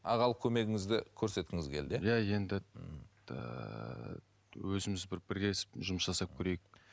ағалық көмегіңізді көрсеткіңіз келді иә иә енді ііі өзіміз бір бірлесіп жұмыс жасап көрейік